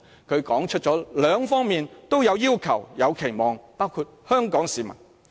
"他指出了兩方面都有要求、有期望，包括香港市民。